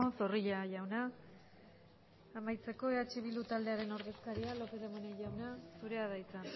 zorrilla jauna amaitzeko eh bildu taldearen ordezkaria lopez de munain jauna zurea da hitza